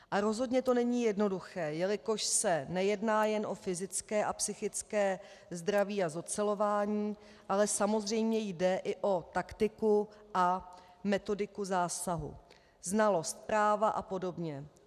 A rozhodně to není jednoduché, jelikož se nejedná jen o fyzické a psychické zdraví a zocelování, ale samozřejmě jde i o taktiku a metodiku zásahu, znalost práva a podobě.